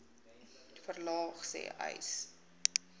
verlaag sê uys